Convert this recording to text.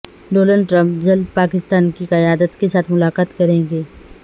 Donald Trump جلد پاکستان کی قیادت کے ساتھ ملاقات کریں گے